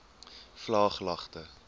vlaaglagte